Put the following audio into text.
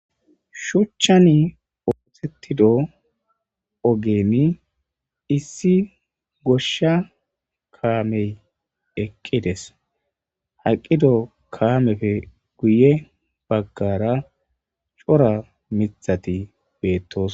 Shuchani othetidi oggeziy issi ogeni issi goshay kamey eqqidesi eqqido kamezaysi guye bagara cora mithatiy beto'osonay